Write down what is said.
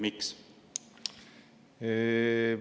Miks?